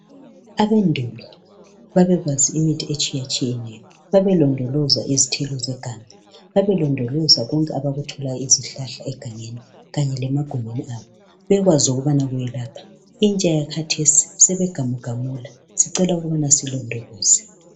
Abendulo babekwazi imithi etshiyetshiyetshiyeneyo. Babelondoloza izithelo zeganga. Babelondoloza konke abakuthola kuzihlahla egangeni. Kanye lemagumbini abo. Bekwazi ukuthi kuyelapha, kodwa intsha, yakhathesi isigamugamula. Sicela ukuthi silondoloze.